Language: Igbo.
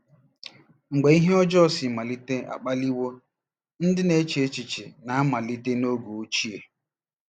MGBE ihe ọjọọ si malite akpaliwo ndị na-eche echiche na malite n'oge ochie.